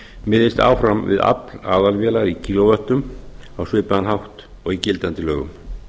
miðist áfram við afl aðalvélar í kílóvöttum á svipaðan hátt og í gildandi lögum